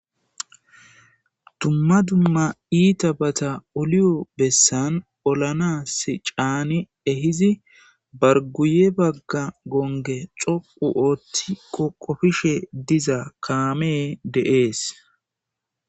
Dumma dumma iitabata oliyo bessan olanassi caani ehizi bargguye bagga gongge coqqu oothi qoqqofishe diza kaamee de7ees.